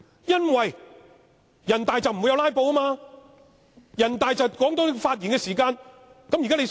因為，人大不會有"拉布"，人大會限制發言時間，現在他想怎樣做呢？